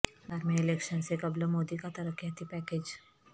بہار میں الیکشن سے قبل مودی کا ترقیاتی پیکیج